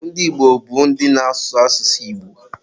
Ndị Igbo bụ ndị na-ásụ̀ asụsụ Igbo.